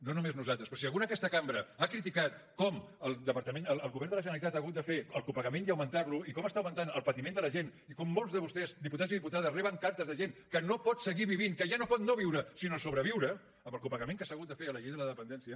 no només nosaltres però si algú en aquesta cambra ha criticat com el govern de la generalitat ha hagut de fer el copagament i augmentar lo i com està augmentant el patiment de la gent i com molts de vostès diputats i diputades reben cartes de gent que no pot seguir vivint que ja no pot no viure sinó sobreviure amb el copagament que s’ha hagut de fer a la llei de la dependència